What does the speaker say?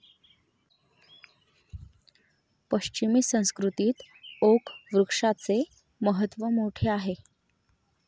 पश्चिमी संस्कृतीत ओक वृक्षाचे महत्व मोठे आहे.